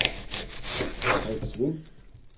Frits Wind